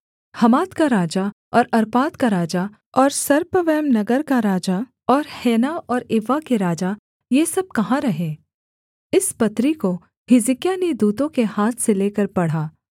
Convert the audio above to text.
हमात का राजा और अर्पाद का राजा और सपर्वैम नगर का राजा और हेना और इव्वा के राजा ये सब कहाँ रहे